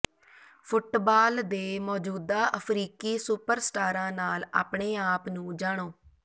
football ਦੇ ਮੌਜੂਦਾ ਅਫਰੀਕੀ ਸੁਪਰ ਸਟਾਰਾਂ ਨਾਲ ਆਪਣੇ ਆਪ ਨੂੰ ਜਾਣੋ